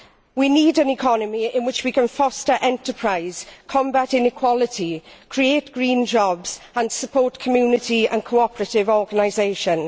We need an economy in which we can foster enterprise, combat inequality, create green jobs and support community and cooperative organisations.